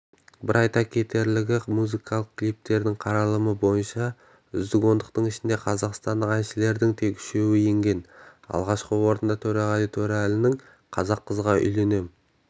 бір айта кетерлігі музыкалық клиптердің қаралымы бойынша үздік ондықтың ішіне қазақстандық әншілердің тек үшеуі енген алғашқы орындарда төреғали төреәлінің қазақ қызғаүйленем